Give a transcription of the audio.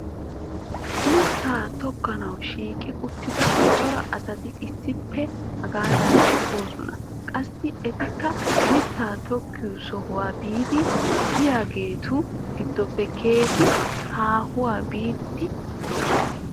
mittaa tokkanawu shiiqi uttida cora asati issippe hagan doosona. qassi etikka mitaa tokkiyo sohuwaa biidi diyaagetu gidoppe keehi haahuwa biidi doosona.